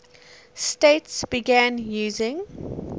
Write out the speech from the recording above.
states began using